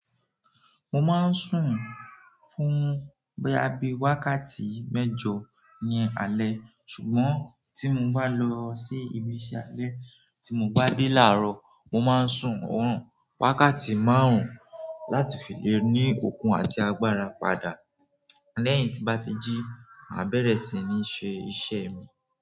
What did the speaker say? Mo máa ń sùn fún bóyá bí wákàtí mẹ́jọ ní alẹ́ ṣùgbọ́n tí mo bá lọ sí ibi ìṣe dẹ́ tí mo bá dé láàárọ̀, mo máa ń sùn ọ̀rùn wákàtí márùn-ún láti fi lè ní okun àti agbára padà lẹ́yìn tí n bá ti jí mabẹ́rẹ́ si ní se iṣẹ́ mi.